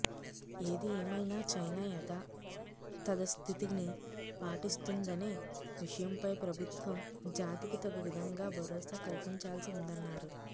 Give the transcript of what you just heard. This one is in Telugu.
ఏది ఏమైనా చైనా యధాతథస్థితిని పాటిస్తుందనే విషయంపై ప్రభుత్వం జాతికి తగు విధంగా భరోసా కల్పించాల్సి ఉందన్నారు